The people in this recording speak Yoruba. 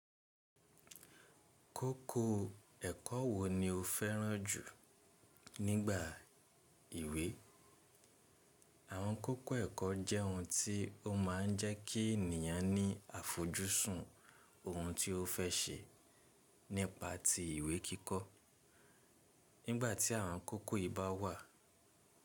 Kókó ẹ̀kọ́ wo ni o fẹ́ràn jù nígbà ìwe? Àwọn kókó ẹ̀kọ́ jẹ́ ohun tí ó máa ń jẹ́ kí ènìyàn ní àfojúsùn ohun tí ó fẹ́ ṣe nípa ti ìwé kíkọ́. Nígbà tí àwọn kókó yìí bá wà.